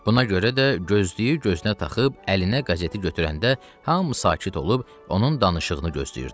Buna görə də gözlüyü gözünə taxıb, əlinə qəzeti götürəndə hamı sakit olub, onun danışığını gözləyirdi.